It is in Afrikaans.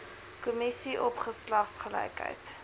kommissie op geslagsgelykheid